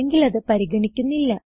അല്ലെങ്കിൽ അത് പരിഗണിക്കുന്നില്ല